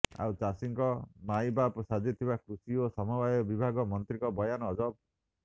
ଆଉ ଚାଷୀଙ୍କ ମାଇବାପ ସାଜିଥିବା କୃଷି ଓ ସମବାୟ ବିଭାଗ ମନ୍ତ୍ରୀଙ୍କ ବୟାନ ଅଜବ